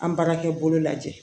An baarakɛ bolo lajɛ